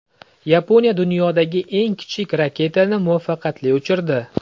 Yaponiya dunyodagi eng kichik raketani muvaffaqiyatli uchirdi .